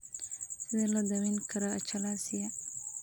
Sidee loo daweyn karaa achalasia?